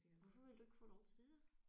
Hvorfor ville du ikke få lov til det?